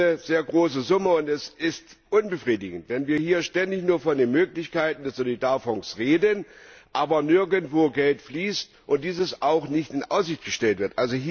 Das ist eine sehr große Summe, und es ist unbefriedigend, wenn wir hier ständig nur von den Möglichkeiten des Solidarfonds reden, aber nirgendwo Geld fließt und dies auch nicht in Aussicht gestellt wird.